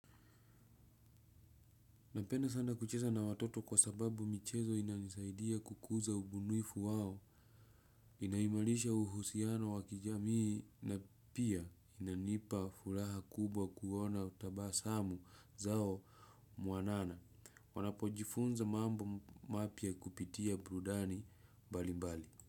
Napenda sana kucheza na watoto kwa sababu michezo inanisaidia kukuza ubunifu wao, inaimarisha uhusiano wa kijamii na pia inanipa furaha kubwa kuona utabasamu zao mwanana. Wanapojifunza mambo mapya kupitia burudani mbalimbali.